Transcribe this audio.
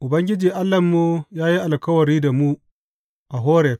Ubangiji Allahnmu ya yi alkawari da mu a Horeb.